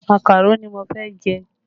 Màkàró ni mo fẹ́ jẹ